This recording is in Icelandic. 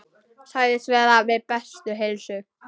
Segist vera við bestu heilsu.